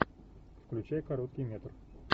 включай короткий метр